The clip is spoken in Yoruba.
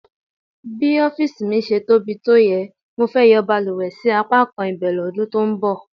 Bí ọ́fíìsì mi ṣe tóbi tó yẹn, mo fẹ́ yọ balùwẹ̀ sí apákan ibẹ̀ lọ́dún tó ń bọ̀.